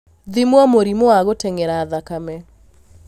Thimwo mũrimũ wa gũteng'era thakame